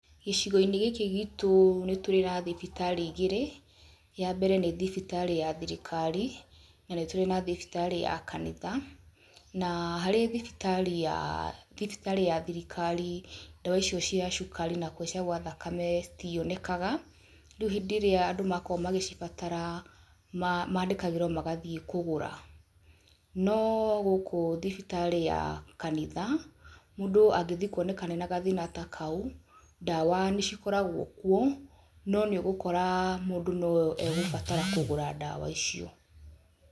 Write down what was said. Gĩcigo-inĩ gĩkĩ gítũ nĩ tũrĩ na thibitarĩ igĩrĩ. Ya mbere nĩ thibitarĩ ya thirikari, na nĩ tũrĩ na thibitarĩ ya kanitha. Na harĩ thibitarĩ ya, thibitarĩ ya thirikari ndawa icio cia cukari na kũhaica gwa thakame citionekaga, rĩu hĩndĩ ĩrĩa andũ makoragwo magĩcibatara maandĩkagĩrwo magathiĩ kũgũra. No gũkũ thibitarĩ ya kanitha mũndũ angĩthiĩ kuonekane ena gathĩna ta kau, ndawa nĩcikoragwo kuo no ni ũgukora mũndũ no egũbatara kũgũra ndawa icio.